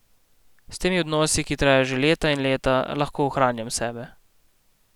S temi odnosi, ki trajajo že leta in leta, lahko ohranjam sebe.